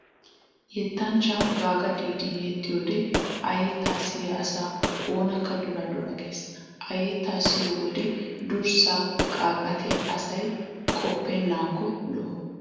Yettanchchaa Gaagga Diidi yexxiyoode a yettaa siyiyaa asaa oonakka dura dura gees. A yettaa siyiyoo wode durssaa qaaqqatiyaa asayi qoppennaakko lo'o.